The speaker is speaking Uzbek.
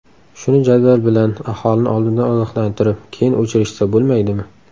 Shuni jadval bilan, aholini oldindan ogohlantirib, keyin o‘chirishsa bo‘lmaydimi?